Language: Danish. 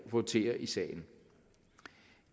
votere i sagen